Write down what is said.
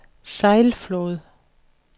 Sejlflod